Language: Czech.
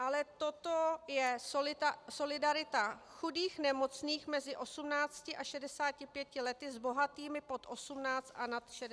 Ale toto je solidarita chudých nemocných mezi 18 a 65 lety s bohatými pod 18 a nad 65 let.